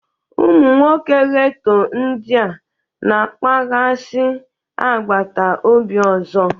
Ụmụ nwoke ghetto ndị a na-akpaghasị agbata obi ọzọ